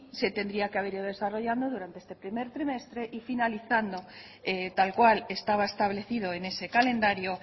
se tendría que haber ido desarrollando durante este primer trimestre y finalizando tal cual estaba establecido en ese calendario